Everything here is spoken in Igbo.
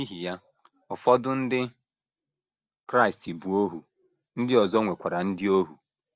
N’ihi ya, ụfọdụ ndị Kraịst bụ ohu, ndị ọzọ nwekwara ndị ohu.